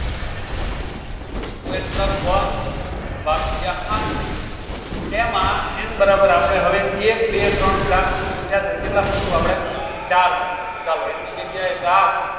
two n plus one ભાગ્યા આઠ એમાં n બરાબર આપળે હવે એક બે ત્રણ ચાર ત્રિકોણ થયા છે કેટલા મુકું આપળે ચાર મુકું તો ચાલો એની જગ્યાએ ચાર